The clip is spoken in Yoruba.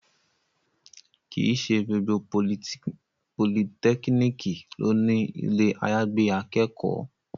Kì í ṣe gbogbo politẹ́kíníkì ló ní ilé àyàgbé akẹ́kọ̀ọ́